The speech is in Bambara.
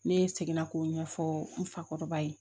Ne seginna k'o ɲɛfɔ n fakɔrɔba ye